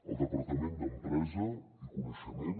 el departament d’empresa i coneixement